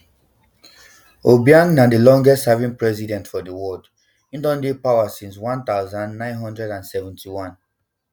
obiang na di longestserving president for di world im don dey for power since one thousand, nine hundred and seventy-nine